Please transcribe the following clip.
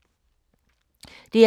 DR K